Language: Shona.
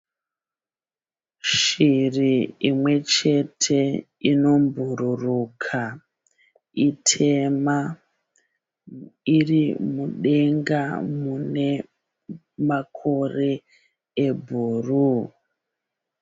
Shiri imwe chete inobhuruka itema, iri mudenga mune makore ebhuruu.